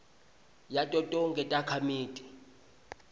yato tonkhe takhamiti